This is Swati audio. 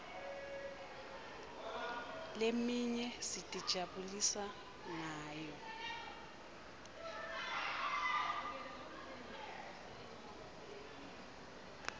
leminye sitijabulisa ngayo